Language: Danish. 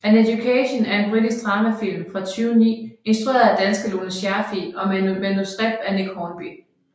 An Education er en britisk dramafilm fra 2009 instrueret af danske Lone Scherfig og med manuskript af Nick Hornby